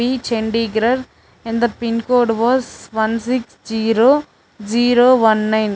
chandigrarh and the pincode was one six zero zero one nine.